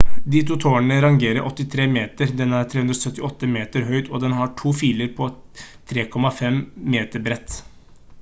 de to tårnene rager 83 meter den er 378 meter høyt og den har to filer på 3,50 m bredt